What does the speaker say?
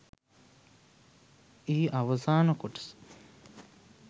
එහි අවසාන කොටස